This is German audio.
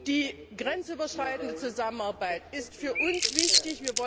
Die grenzüberschreitende Zusammenarbeit ist für uns wichtig.